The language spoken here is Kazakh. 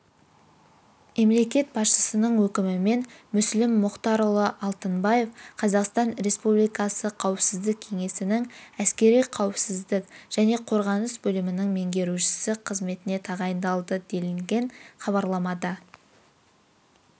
мемлекет басшысының өкімімен мүслім мұхтарұлы алтынбаев қазақстан республикасы қауіпсіздік кеңесінің әскери қауіпсіздік және қорғаныс бөлімінің меңгерушісі қызметіне тағайындалды делінген хабарламада